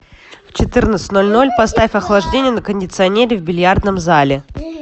в четырнадцать ноль ноль поставь охлаждение на кондиционере в бильярдном зале